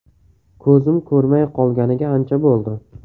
Ko‘zim ko‘rmay qolganiga ancha bo‘ldi.